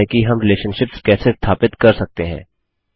और यह है कि हम रिलेशनशिप्स कैसे स्थापित कर सकते हैं